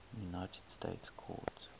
united states court